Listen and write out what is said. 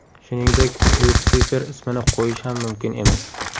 Shuningdek, Lyutsifer ismini qo‘yish ham mumkin emas.